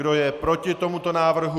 Kdo je proti tomuto návrhu?